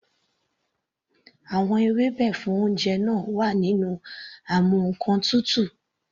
Àwọn ewébẹ̀ fún oúnjẹ náà wà nínú amú ǹkan tutù.